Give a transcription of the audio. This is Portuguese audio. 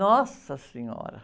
Nossa senhora!